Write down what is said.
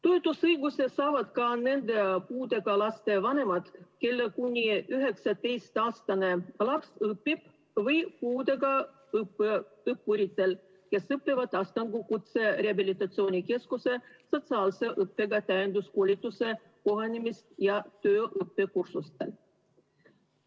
Toetusõiguse saavad ka puudega laste vanemad, kelle kuni 19-aastane laps õpib, või puudega õppurid, kes õpivad Astangu Kutserehabilitatsiooni Keskuse statsionaarse õppega täienduskoolituse kohanemis- ja tööõppekursustel.